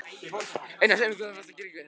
Einar, segðu mér hvað varst þú að gera hérna?